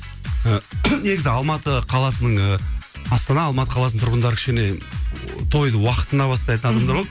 негізі алматы қаласының ы астана алматы қаласының тұрғындары кішкене тойды уақытында бастайтын адамдар ғой мхм